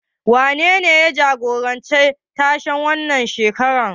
Wanene ya jagoranci tashen wannan shekarar?